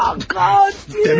Ay qaç!